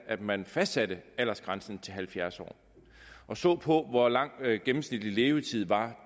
at man fastsatte aldersgrænsen til halvfjerds år og ser på hvor lang gennemsnitligt levetiden var